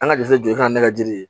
An ka jise jɔ ka na ne ka jiri di ye